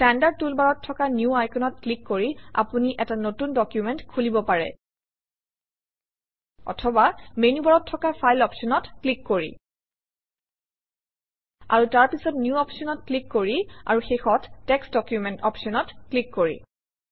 standard টুলবাৰত থকা new আইকনত ক্লিক কৰি আপুনি এটা নতুন ডকুমেণ্ট খুলিব পাৰে অথবা মেনুবাৰত থকা ফাইল অপশ্যনত ক্লিক কৰি আৰু তাৰপিছত নিউ অপশ্যনত ক্লিক কৰি আৰু শেষত টেক্সট ডকুমেণ্ট অপশ্যনত ক্লিক কৰি